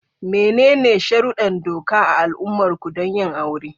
Menene sharuddan doka a al'ummarku don yin aure?